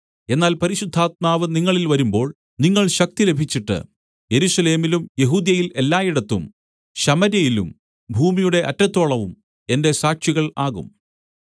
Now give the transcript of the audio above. എന്നാൽ പരിശുദ്ധാത്മാവ് നിങ്ങളില്‍ വരുമ്പോൾ നിങ്ങൾ ശക്തി ലഭിച്ചിട്ട് യെരൂശലേമിലും യെഹൂദ്യയിൽ എല്ലായിടത്തും ശമര്യയിലും ഭൂമിയുടെ അറ്റത്തോളവും എന്റെ സാക്ഷികൾ ആകും